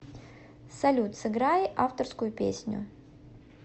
салют сыграй авторскую песню